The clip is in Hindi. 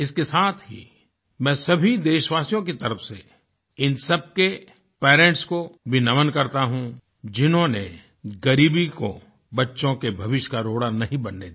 इसके साथ ही मैं सभी देशवासियों की तरफ़ से इन सबके पेरेंट्स को भी नमन करता हूँ जिन्होंने गरीबी को बच्चों के भविष्य का रोड़ा नहीं बनने दिया